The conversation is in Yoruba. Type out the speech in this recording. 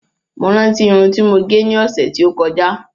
Mo rántí Irun ti mo gẹ̀ ní ọsẹ ti o kọjá